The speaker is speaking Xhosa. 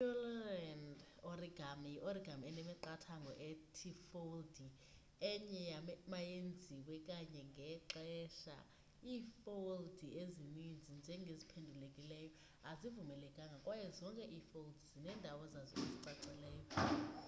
i pureland origami yi origami enemiqathango ethi ifoldi enye mayenziwe kanye ngexesha ifoldi ezinintsi njengeziphendulelekileyo azivumelekanga kwaye zonke ifolds zinendawo zazo ezicacileyo